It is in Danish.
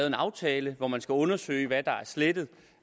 en aftale hvor man skal undersøge hvad der er slettet og